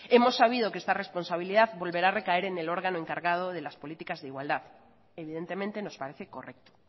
hemos sabido que esta responsabilidad volverá a recaer en el órgano encargado de las políticas de igualdad evidentemente nos parece correcto